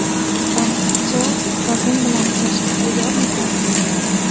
Ortiqcha vazn bilan kurashga tayyormisiz?